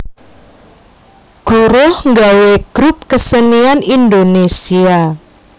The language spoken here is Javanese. Guruh nggawé grup kesenian Indonésia